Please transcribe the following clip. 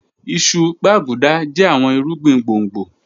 Ìṣù, gbàgúdà jẹ̀ àwọn ìrúgbìn gbọ̀ngbò